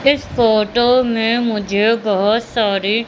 इस फोटो में मुझे बहोत सारे--